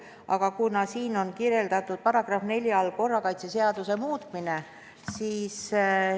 Aga siin on § 4 all juttu korrakaitseseaduse muutmisest.